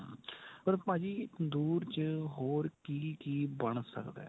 ਪਰ ਭਾਜੀ ਤੰਦੂਰ ਚ ਹੋਰ ਕੀ ਕੀ ਬਣ ਸਕਦਾ.